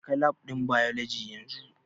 Jeka Lab ɗin Biology yanzu!